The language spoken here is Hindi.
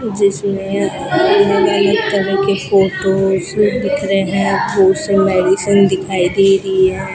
जिसमें उन्होंने की फोटोस दिख रहे है कुछ मेडिसिन दिखाई दे रही है।